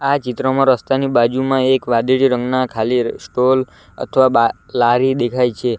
આ ચિત્રમાં રસ્તાની બાજુમાં એક વાદળી રંગના ખાલી સ્ટોલ અથવા બા લારી દેખાય છે.